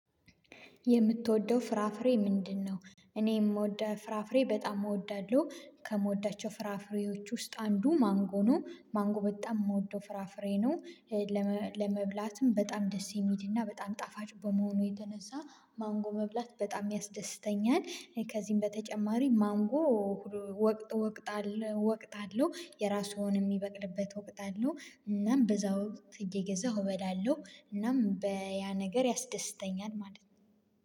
የምትወደው ፍራፍሬ ምንድነው? እኔ የምወደው ፍራፍሬ በጣም እወዳለሁ ከምወዳቸው ፍራፍሬዎች ውስጥ አንዱ ማንጎ ነው ማንጎ በጣም የምወደው ፍራፍሬ ነው። ለመብላትም በጣም ደስ የሚሄድና በጣም ጣፋጭ በመሆኑ የተነሳ ማንጎ መብላት በጣም ያስደስተኛል። ከዚህም በተጨማሪ ማንጎ ወቅት ወቅት አለ ወቅት አለው የራሱን የሚበቅልበት ወቅት አለው። እናም በዛ ወቅት እየገዛሁ እበላለሁ እናም በያ ነገር ያስደስተኛል ማለት ነው